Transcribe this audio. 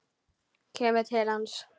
Kemur til hans.